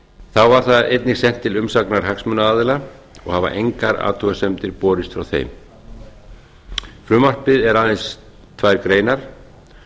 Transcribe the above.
þá var það einnig sent til umsagnar hagsmunaaðila og hafa engar athugasemdir borist frá þeim frumvarpið er aðeins tvær greinar